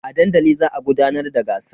A dandali za a gudanar da gasar.